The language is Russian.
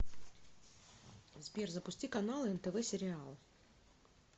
сбер запусти каналы нтв сериал